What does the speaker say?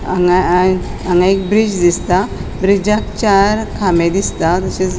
हांगा हांगा एक ब्रिज दिसता ब्रिजाक चार खामे दिसता तशेच --